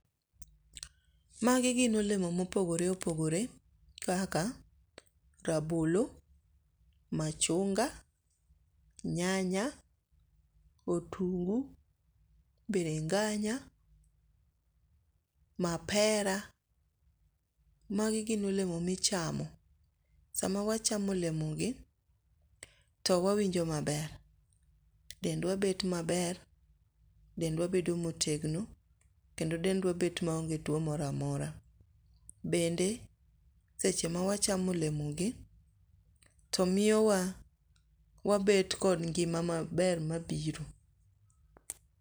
Magi gin olemo mopogore opogore kaka rabolo, machunga, nyanya , otungu, biringanya, mapera magi gin olemo ma ichamo sama wachamo olemogi to wawinjo maber. Dendwa bet maber, dendwa bet motegno kendo dendwa bet maonge tuo moro amora. Bende seche mawachamo olemogi to miyo wabet kod ngima maber mabiro.